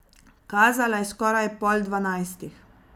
Kazala je skoraj pol dvanajstih.